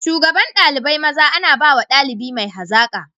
Shugabar dalibai maza ana bawa daliba mai hazaka.